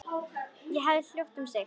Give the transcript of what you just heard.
Hún hafði hljótt um sig.